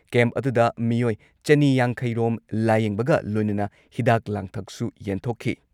Camp ꯑꯗꯨꯗ ꯃꯤꯑꯣꯏ ꯆꯅꯤ ꯌꯥꯡꯈꯩ ꯔꯣꯝ ꯂꯥꯌꯦꯡꯕꯒ ꯂꯣꯏꯅꯅ ꯍꯤꯗꯥꯛ ꯂꯥꯡꯊꯛꯁꯨ ꯌꯦꯟꯊꯣꯛꯈꯤ ꯫